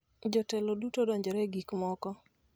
Jotelo duto odonjore e gik moko.